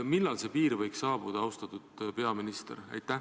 Millal see piir võiks saabuda, austatud peaminister?